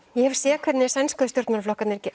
ég hef séð hvernig sænsku stjórnmálaflokkarnir